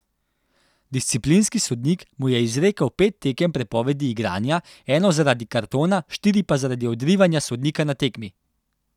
Disciplinski sodnik mu je izrekel pet tekem prepovedi igranja, eno zaradi kartona, štiri pa zaradi odrivanja sodnika na tekmi.